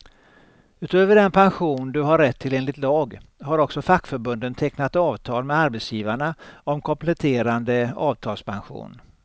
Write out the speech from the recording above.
Utöver den pension du har rätt till enligt lag, har också fackförbunden tecknat avtal med arbetsgivarna om kompletterande avtalspension.